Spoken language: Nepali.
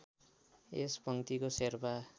यस पङ्क्तिको शेर्पा